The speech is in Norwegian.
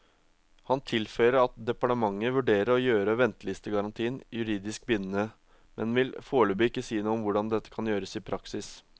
Han tilføyer at departementet vurderer å gjøre ventelistegarantien juridisk bindende, men vil foreløpig ikke si noe om hvordan det kan gjøres i praksis.